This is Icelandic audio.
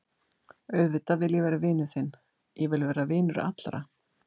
Auðvitað vil ég vera vinur þinn, ég vil vera vinur allra.